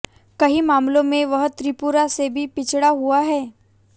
कई मामलों में वह त्रिपुरा से भी पिछड़ा हुआ है